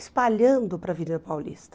espalhando para a Avenida Paulista.